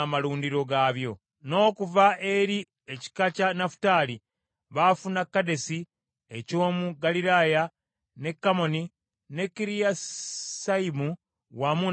n’okuva eri ekika kya Nafutaali baafuna Kedesi eky’omu Ggaliraaya, ne Kammoni ne Kiriyasayimu wamu n’amalundiro byako.